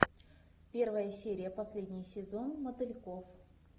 первая серия последний сезон мотыльков